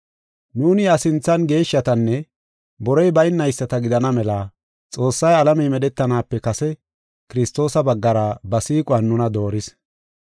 Nuuni iya sinthan geeshshatanne borey baynayisata gidana mela Xoossay alamey medhetanaape kase Kiristoosa baggara ba siiquwan nuna dooris.